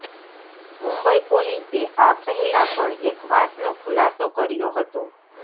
મુંબઈ પોલીસે આ પહેલાં પણ એક વાતનો ખુલાસો કર્યો હતો